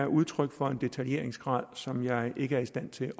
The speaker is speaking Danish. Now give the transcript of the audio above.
udtryk for en detaljeringsgrad som jeg ikke er i stand til